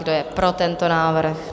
Kdo je pro tento návrh?